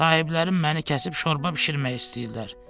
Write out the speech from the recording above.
Sahiblərim məni kəsib şorba bişirmək istəyirlər.